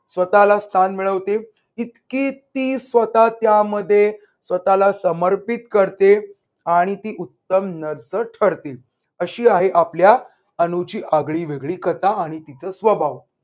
स्वतःला स्थान मिळवते इतकी ती स्वतः त्यामध्ये स्वतःला समर्पित करते आणि ती उत्तम nurse ठरते अशी आहे आपल्या अनुची आगळीवेगळी कथा आणि तिचा स्वभाव